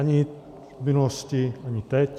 Ani v minulosti, ani teď.